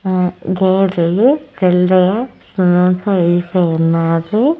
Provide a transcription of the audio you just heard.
ఆ గేట్ ది తెల్లది వేసి ఉన్నాది.